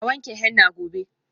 A wanke henna gobe.